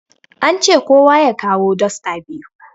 An ce kowa ya kawo dosta biyu